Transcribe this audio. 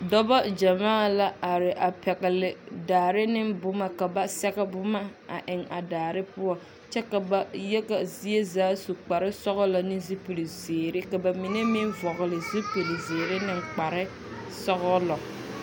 Noba gyamaa la a are a pɛgele dare ne boma ka ba s1ge boma a eŋ a daare poɔ kyɛ ka ba yaga zie zaa su kpare sɔgelɔ ne zupil zeere, ka ba mine meŋ vɔgele zupil zeere ne kpare sɔgelɔ.